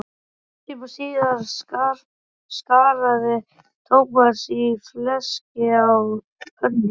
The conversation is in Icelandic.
Hálftíma síðar skaraði Thomas í fleski á pönnu.